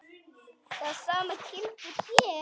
Það sama gildir hér.